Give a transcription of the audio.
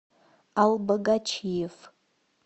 албогачиев